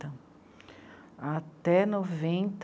até noventa.